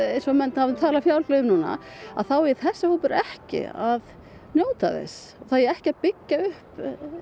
eins og menn tala fjálglega um núna þá eigi þessi hópur ekki að njóta þess það eigi ekki að byggja upp